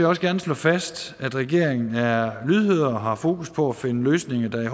også gerne slå fast at regeringen er lydhør og har fokus på at finde løsninger der i